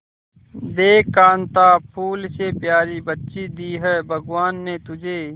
देख कांता फूल से प्यारी बच्ची दी है भगवान ने तुझे